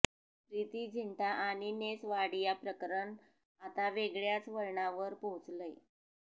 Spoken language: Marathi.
प्रिती झिंटा आणि नेस वाडिया प्रकरण आता वेगळ्याच वळणावर पोहोचलंय